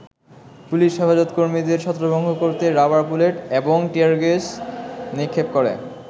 Police Hefazat কর্মীদের ছত্রভঙ্গ করতে রাবার বুলেট, এবং টিয়ারগ্যাস নিক্ষেপ করে।